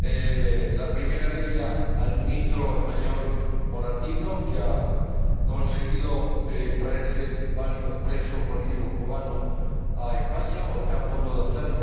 la primera de ellas, al Ministro de Asuntos Exteriores español, señor Moratinos, que ha conseguido traerse varios presos políticos cubanos a España, o está a punto de hacerlo